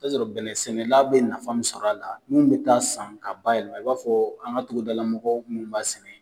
I bi t'a sɔrɔ bɛnɛ sɛnɛla bɛ nafa min sɔrɔ a la minnu bɛ taa san k'a bayɛlɛma, i b'a fɔ an ka togodalamɔgɔ minnu ba sɛnɛ.